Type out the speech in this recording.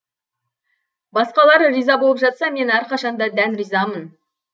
басқалар риза болып жатса мен әрқашан да дән ризамын